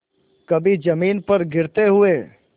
कभी जमीन पर गिरते हुए